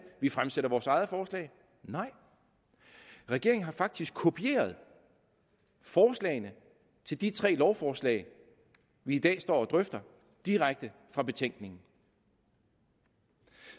vi fremsætter vores eget forslag nej regeringen har faktisk kopieret forslagene til de tre lovforslag vi i dag står og drøfter direkte fra betænkningen